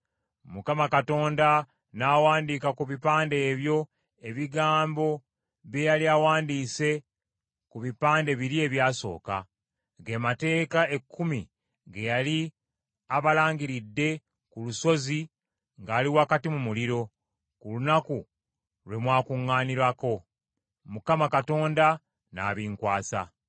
Mukama Katonda n’awandiika ku bipande ebyo ebigambo bye yali awandiise ku bipande biri ebyasooka, ge Mateeka Ekkumi ge yali abalangiridde ku lusozi ng’ali wakati mu muliro, ku lunaku lwe mwakuŋŋaanirako. Mukama Katonda n’abinkwasa.